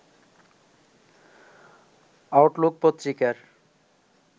Outlook পত্রিকার